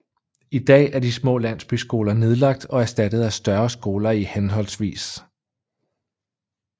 I dag er de små landsbyskoler nedlagt og erstattet af større skoler i hhv